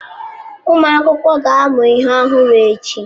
Ụmụ akwụkwọ ga-amụ ihe ọhụrụ echi?